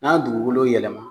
N'an ye dugukolo yɛlɛma